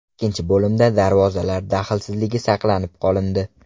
Ikkinchi bo‘limda darvozalar daxlsizligi saqlanib qolindi.